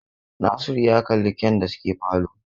Nasiru ya kalli kyan da suke falo